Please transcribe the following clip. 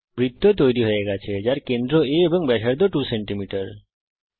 একটি বৃত্ত তৈরী হয়ে গেছে যার কেন্দ্র Aএবং ব্যাসার্ধ 2 সেমি